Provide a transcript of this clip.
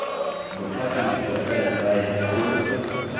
bothati jwa selegae bo boloka